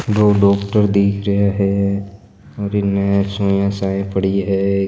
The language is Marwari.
दो डॉक्टर दिख रहा है और इने सुई सा पड़ी है।